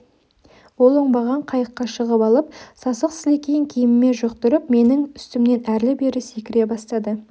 ол оңбаған қайыққа шығып алып сасық сілекейін киіміме жұқтырып менің үстімнен әрлі-берлі секіре бастады